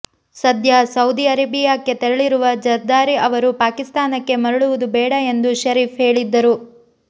ಸದ್ಯ ಸೌಧಿಅರೇಬಿಯಾಕ್ಕೆ ತೆರಳಿರುವ ಜರ್ದಾರಿ ಅವರು ಪಾಕಿಸ್ತಾನಕ್ಕೆ ಮರಳುವುದು ಬೇಡ ಎಂದು ಷರೀಫ್ ಹೇಳಿದ್ದರು